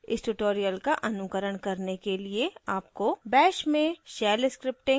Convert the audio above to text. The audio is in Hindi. इस tutorial का अनुकरण करने के लिए आपको bash में shell scripting का ज्ञान होना चाहिए